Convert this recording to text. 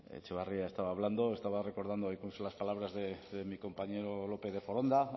etxebarria estaba hablando estaba recordando incluso las palabras de mi compañero lópez de foronda